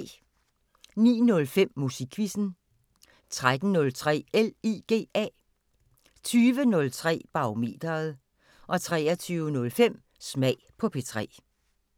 09:05: Musikquizzen 13:03: LIGA 20:03: Barometeret 23:05: Smag på P3